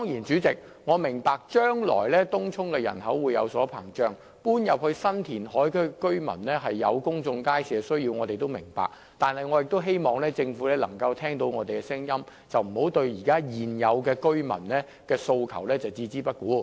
主席，我當然明白東涌人口會不斷膨脹，以及搬往新填海區的居民對公眾街市的需求，但我也希望政府能夠聽到我們的聲音，不應對現有居民的訴求置之不顧。